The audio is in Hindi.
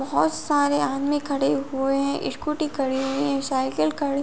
बहोत सारे आदमी खड़े हुए हैं। स्कूटी खड़ी हुई है साइकिल खड़ी --